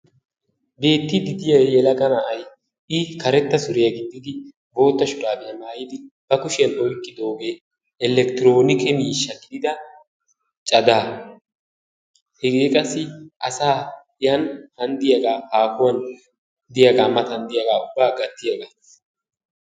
Beetidi diya yelaga na'aay i karetta suuriya gixidi bootta shurabiyaa maayidi ba kushiyan oyqqidogee elektironikke miishsha gidida cagaa. hegee qassi asaa yan han diyaga hahuwan diyaga matan diyaga ubba gatiyaga.